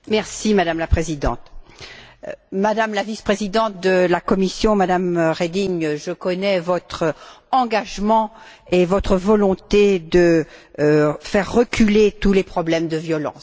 Madame la Présidente, Madame la Vice présidente de la Commission, Mme Reding, je connais votre engagement et votre volonté de faire reculer tous les problèmes de violence.